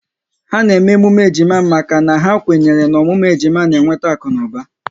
Ha na-eme emume ejima maka na ha kwenyere n'ọmụmụ ejima n'eweta akunuba